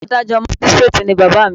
Adájọ́ Mágístíréètì ni bàbá à mi.